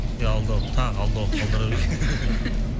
иә алдағы уақыт тағы алдағы уақыт